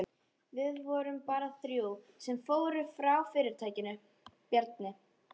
Við vorum bara þrjú sem fórum frá fyrirtækinu, Bjarni